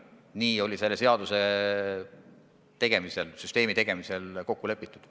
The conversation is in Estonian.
Nii sai selle seaduse tegemisel, süsteemi loomisel kokku lepitud.